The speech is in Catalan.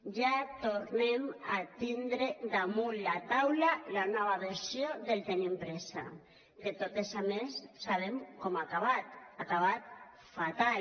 ja tornem a tindre damunt la taula la nova versió del tenim pressa que totes a més sabem com ha acabat ha acabat fatal